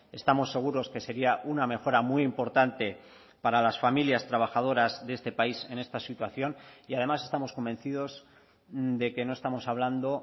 estamos seguros que sería una mejora muy importante para las familias trabajadoras de este país en esta situación y además estamos convencidos de que no estamos hablando